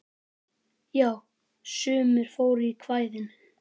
Jú, sumir fóru í kvæðin.